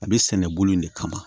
A bɛ sɛnɛ bolo in de kama